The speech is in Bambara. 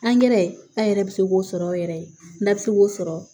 Angɛrɛ an yɛrɛ bɛ se k'o sɔrɔ yɛrɛ n'a bɛ se k'o sɔrɔ